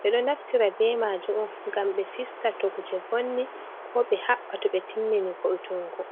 ɓe ɗo naftira be majum on ngam ɓe fista to kuje vonni ko ɓe haɓɓa to ɓe timmini vo'otungo.